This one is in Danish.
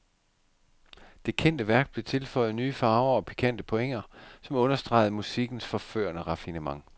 Det kendte værk blev tilføjet nye farver og pikante pointer, som understregede musikkens forførende raffinement.